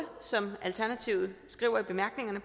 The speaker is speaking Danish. som alternativet skriver i bemærkningerne